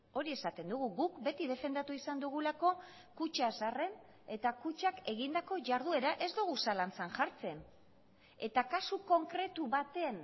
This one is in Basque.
hori esaten dugu guk beti defendatu izan dugulako kutxa zaharren eta kutxak egindako jarduera ez dugu zalantzan jartzen eta kasu konkretu baten